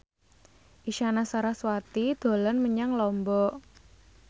Isyana Sarasvati dolan menyang Lombok